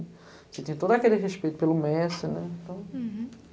Você tinha todo aquele respeito pelo mestre, né? Então. Uhum